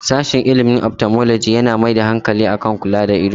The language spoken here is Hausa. Sashen ilimin 'Ophthalmology' yana mai da hankali kan kula da ido.